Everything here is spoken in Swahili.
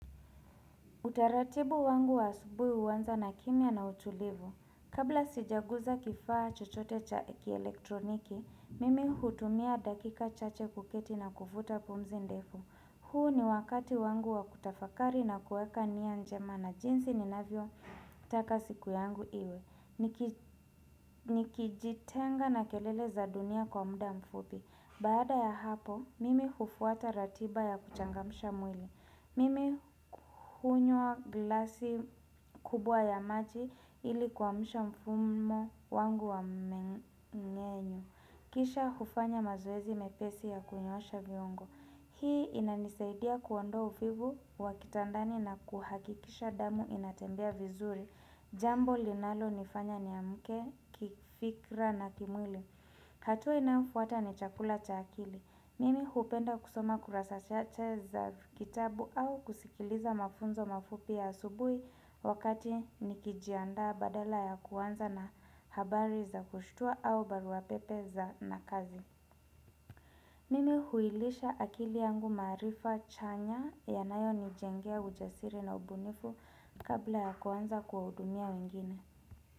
Utaratibu wangu wa asubuhi huanza na kimya na utulivu. Kabla sijagusa kifaa chochote cha kielektroniki, mimi hutumia dakika chache kuketi na kuvuta pumzi ndefu. Huu ni wakati wangu wa kutafakari na kuweka nia njema na jinsi ninavyo taka siku yangu iwe. Nikijitenga na kelele za dunia kwa muda mfupi. Baada ya hapo, mimi hufuata ratiba ya kuchangamsha mwili. Mimi hunywa glasi kubwa ya maji ili kuamsha mfumo wangu wa mmeng'enyo Kisha hufanya mazoezi mepesi ya kunyoosha viongo. Hii inanisaidia kuondoa uvivu wa kitandani na kuhakikisha damu inatembea vizuri. Jambo linalo nifanya niamke, kifikra na kimwili. Hatua inayofuata ni chakula cha akili. Mimi hupenda kusoma kurasa chache za kitabu au kusikiliza mafunzo mafupi ya asubuhi wakati nikijianda badala ya kuanza na habari za kushitua au baruapepe za kazi. Mimi huilisha akili yangu maarifa chanya yanayo nijengea ujasiri na ubunifu kabla ya kuanza kuwahudumia wengine.